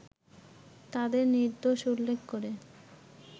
তাদের নির্দোষ উল্লেখ করে